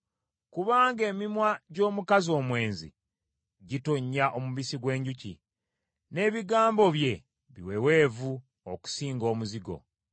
Kubanga emimwa gy’omukazi omwenzi gitonnya omubisi gw’enjuki, n’ebigambo bye biweweevu okusinga omuzigo;